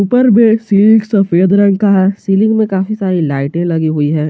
उपर मे सीलिंग सफेद रंग का है सीलिंग में काफी सारी लाइटें लगी हुई है।